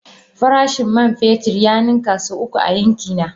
Farashin man fetur ya ninka sau uku a yankina.